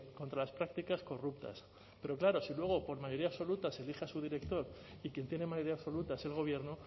contra las prácticas corruptas pero claro si luego por mayoría absoluta se elige a su director y quien tiene mayoría absoluta es el gobierno